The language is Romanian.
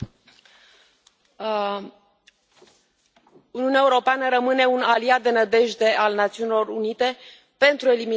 Doamnă președintă, Uniunea Europeană rămâne un aliat de nădejde al Națiunilor Unite pentru eliminarea abuzurilor împotriva drepturilor omului.